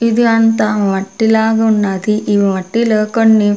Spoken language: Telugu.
ఇది అంతా మట్టి లాగా ఉన్నాది ఈ మట్టిలో కొన్ని.